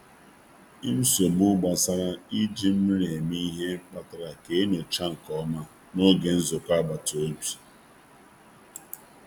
Nchegbu banyere i ji mmiri eme ihe kpalitere i mee nnyocha zuru ezu n'oge nnọkọ nde agbata obi.